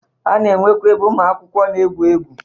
A na-enwekwe ebe ụmụ akwụkwọ na-egwu egwu.